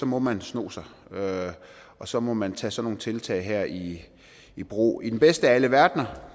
må man sno sig og så må man tage sådan nogle tiltag her i i brug i den bedste af alle verdener